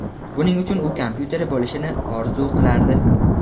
Buning uchun u kompyuteri bo‘lishini orzu qilardi.